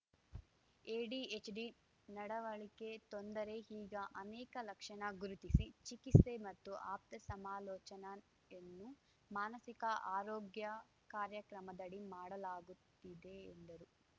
ADHD ನಡವಳಿಕೆ ತೊಂದರೆ ಹೀಗ ಅನೇಕ ಲಕ್ಷಣ ಗುರುತಿಸಿ ಚಿಕಿಸ್ತೆ ಮತ್ತು ಆಪ್ತ ಸಮಾಲೋಚನಾಯನ್ನು ಮಾನಸಿಕ ಆರೋಗ್ಯ ಕಾರ್ಯಕ್ರಮದಡಿ ಮಾಡಲಾಗುತ್ತಿದೆ ಎಂದರು